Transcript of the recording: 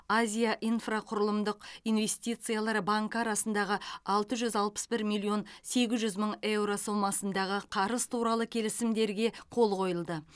азия инфрақұрылымдық инвестициялар банкі арасындағы алты жүз алпыс бір миллион сегіз жүз мың еуро сомасындағы қарыз туралы келісімдерге қол қойылды